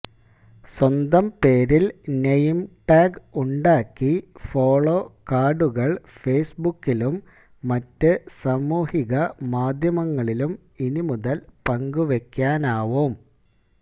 സ്വന്തം പേരില് നെയിംടാഗ് ഉണ്ടാക്കി ഫോളോ കാര്ഡുകള് ഫേസ്ബുക്കിലും മറ്റ് സാമൂഹിക മാധ്യമങ്ങളിലും ഇനി മുതല് പങ്കുവയ്ക്കാനാവും